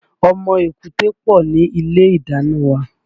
Ọmọ èkúté pọ̀ ni ilé ìdáná wa